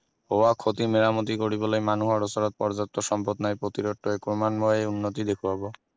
হোৱা ক্ষতি মেৰামতি কৰিবলৈ মানুহৰ ওচৰত প্ৰযাপ্ত সম্পদ নাই প্ৰতিৰোধ ক্ৰমান্বয়ে উন্নতি দেখোৱাব